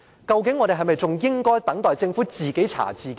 究竟我們應否等待政府自己查自己呢？